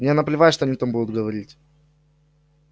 мне наплевать что они там будут говорить